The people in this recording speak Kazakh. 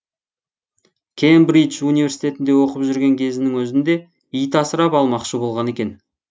кембридж университетінде оқып жүрген кезінің өзінде ит асырап алмақшы болған екен